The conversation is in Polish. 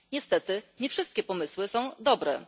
Niestety nie wszystkie pomysły są dobre.